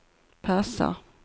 passar